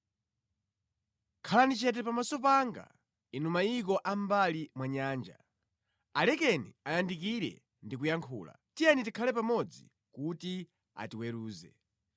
“Khalani chete pamaso panga, inu mayiko a mʼmbali mwa nyanja! Alekeni ayandikire ndi kuyankhula; tiyeni tikhale pamodzi kuti atiweruze.